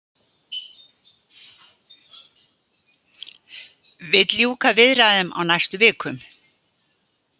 Vill ljúka viðræðum á næstu vikum